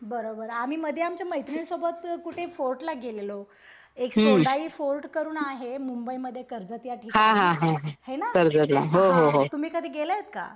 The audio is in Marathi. बरोबर. आम्ही मधे आमच्या मैत्रिणींसोबत कुठे फोर्टला गेलेलो. एक सोंडाई फोर्ट म्हणून आहे मुंबई मधे कर्जत या ठिकाणी. है ना हा. तुम्ही कधी गेलात का?